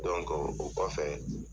o kɔfɛ